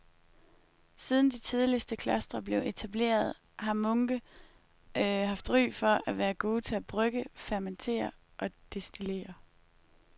Siden de tidligste klostre blev etableret har munke haft ry for at være gode til at brygge, fermentere og destillere.